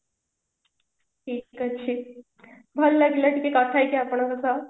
ଠିକ ଅଛି ଭଲ ଲାଗିଲା ଟିକେ କଥା ହେଇକି ଆପଣଙ୍କ ସହ